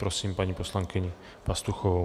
Prosím paní poslankyni Pastuchovou.